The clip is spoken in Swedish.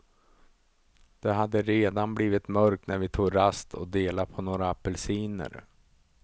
Det hade redan blivit mörkt när vi tog rast och delade på några apelsiner.